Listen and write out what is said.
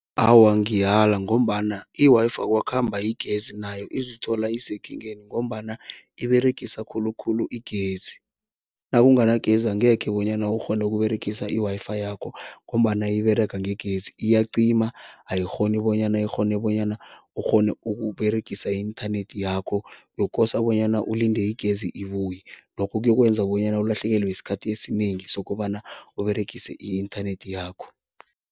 Awa, ngiyala ngombana i-Wi-Fi kwakhamba igezi, nayo izithola isekingeni ngombana iberegisa khulukhulu igezi. Nakunganagezi angekhe bonyana ukghone ukUberegisa i-Wi-Fi yakho ngombana iberega ngegezi, iyacima ayikghoni bonyana ikghone bonyana ukghone ukUberegisa i-internet yakho, uyokosa bonyana ulinde igezi ibuye. Lokho kuyokwenza bonyana ulahlekelwe isikhathi esinengi sokobana Uberegise i-internet yakho.